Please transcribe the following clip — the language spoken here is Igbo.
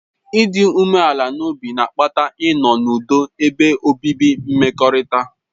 Ịdị umeala n'obi na-akpata ịnọ n'ụdo ebe obibi mmekọrịta.